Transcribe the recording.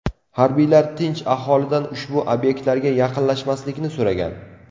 Harbiylar tinch aholidan ushbu obyektlarga yaqinlashmaslikni so‘ragan.